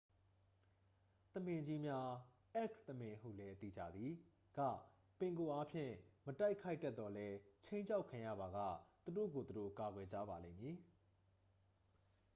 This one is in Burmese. သမင်ကြီးများ အဲ့လ်ခ်သမင်ဟုလည်း သိကြသည် က ပင်ကိုအားဖြင့် မတိုက်ခိုက်တတ်သော်လည်း ခြိမ်းခြောက်ခံရပါက သူတို့ကိုယ် သူတို့ ကာကွယ်ကြပါလိမ့်မည်။